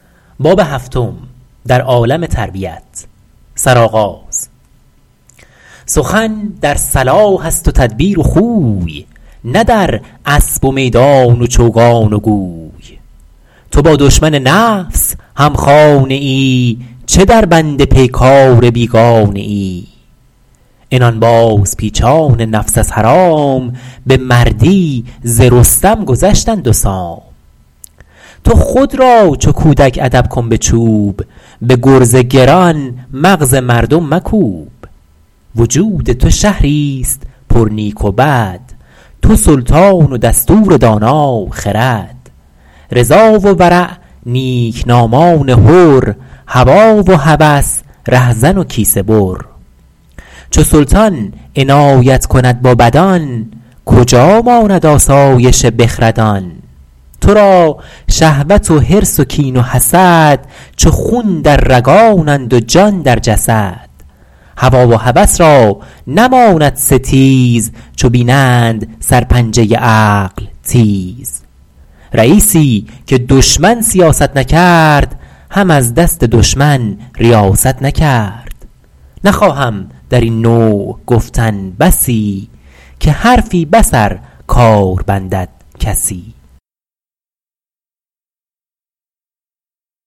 سخن در صلاح است و تدبیر و خوی نه در اسب و میدان و چوگان و گوی تو با دشمن نفس هم خانه ای چه در بند پیکار بیگانه ای عنان باز پیچان نفس از حرام به مردی ز رستم گذشتند و سام تو خود را چو کودک ادب کن به چوب به گرز گران مغز مردم مکوب وجود تو شهری است پر نیک و بد تو سلطان و دستور دانا خرد رضا و ورع نیکنامان حر هوی و هوس رهزن و کیسه بر چو سلطان عنایت کند با بدان کجا ماند آسایش بخردان تو را شهوت و حرص و کین و حسد چو خون در رگانند و جان در جسد هوی و هوس را نماند ستیز چو بینند سر پنجه عقل تیز رییسی که دشمن سیاست نکرد هم از دست دشمن ریاست نکرد نخواهم در این نوع گفتن بسی که حرفی بس ار کار بندد کسی